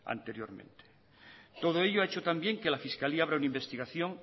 anteriormente todo ello ha hecho también que la fiscalía abra una investigación